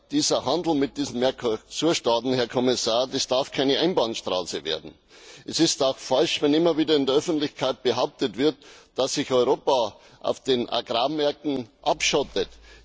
Dieser Handel mit den Mercosur Staaten, Herr Kommissar, darf keine Einbahnstraße werden. Es ist auch falsch, wenn immer wieder in der Öffentlichkeit behauptet wird, dass sich Europa auf den Agrarmärkten abschottet.